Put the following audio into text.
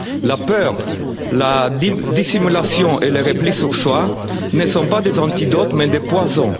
La peur, la dissimulation et le repli sur soi ne sont pas des antidotes mais des